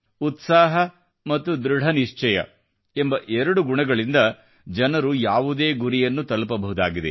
ಉತ್ಸಾಹ ಮತ್ತು ಧೃಡನಿಶ್ಚಯ ಎಂಬ ಎರಡು ಗುಣಗಳಿಂದ ಜನರು ಯಾವುದೇ ಗುರಿಯನ್ನು ತಲುಪಬಹುದಾಗಿದೆ